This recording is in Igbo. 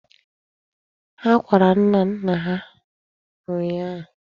Ha kwara nnanna ha ụnyịa.